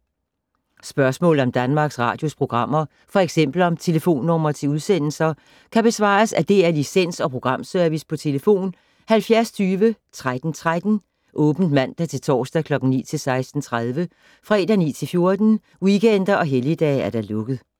Spørgsmål om Danmarks Radios programmer, f.eks. om telefonnumre til udsendelser, kan besvares af DR Licens- og Programservice: tlf. 70 20 13 13, åbent mandag-torsdag 9.00-16.30, fredag 9.00-14.00, weekender og helligdage: lukket.